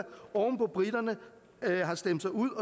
briterne har stemt sig ud